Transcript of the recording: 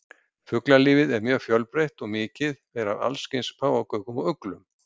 Fuglalífið er mjög fjölbreytt og mikið er af allskyns páfagaukum og uglum.